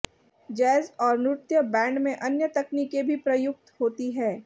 jazz और नृत्य band में अन्य तकनीकें भी प्रयुक्त होती हैं